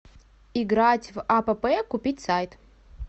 играть в апп купить сайт